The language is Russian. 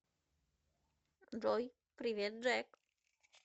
джой привет джек